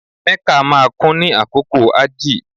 Mecca máa kún ni àkókò hajji